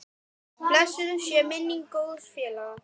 Blessuð sé minning góðs félaga.